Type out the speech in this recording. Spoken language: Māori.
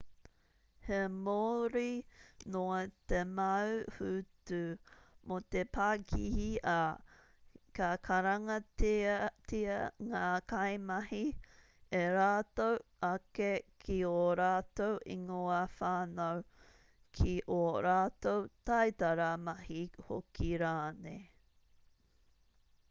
he māori noa te mau hūtu mō te pakihi ā ka karangatia ngā kaimahi e rātou ake ki ō rātou ingoa whānau ki ō rātou taitara mahi hoki rānei